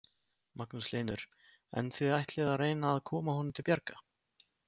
Magnús Hlynur: En þið ætlið að reyna að koma honum til bjargar?